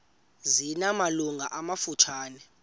zina malungu amafutshane